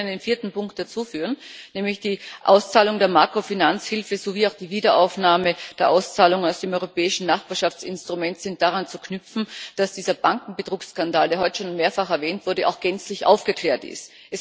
Ich würde aber gerne einen vierten Punkt dazu anführen Die Auszahlung der Makrofinanzhilfe sowie auch die Wiederaufnahme der Auszahlung aus dem Europäischen Nachbarschaftsinstrument sind daran zu knüpfen, dass dieser Bankenbetrugsskandal, der heute schon mehrfach erwähnt wurde, auch gänzlich aufgeklärt ist.